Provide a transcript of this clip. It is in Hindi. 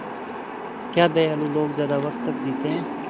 क्या दयालु लोग ज़्यादा वक़्त तक जीते हैं